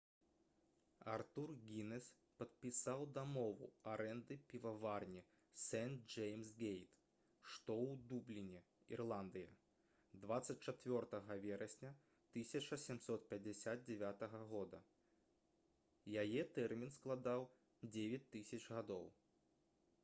артур гінес падпісаў дамову арэнды піваварні сэнт-джэймс-гейт што ў дубліне ірландыя 24 верасня 1759 г. яе тэрмін складаў 9 000 гадоў